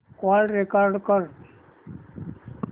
call record कर